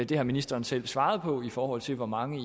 det har ministeren selv svaret på i forhold til hvor mange